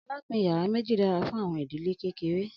alapin yara meji dara fun awọn idil kekere